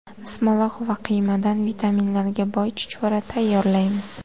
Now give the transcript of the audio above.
Ismaloq va qiymadan vitaminlarga boy chuchvara tayyorlaymiz.